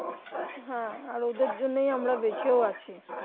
হ্যাঁ আর ওদের জন্য ই আমরা বেঁচেও আছি